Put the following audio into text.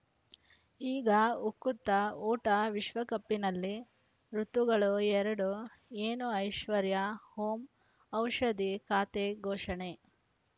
ಈಗ ಉಕುತ ಊಟ ವಿಶ್ವಕಪ್‌ನಲ್ಲಿ ಋತುಗಳು ಎರಡು ಏನು ಐಶ್ವರ್ಯಾ ಓಂ ಔಷಧಿ ಖಾತೆ ಘೋಷಣೆ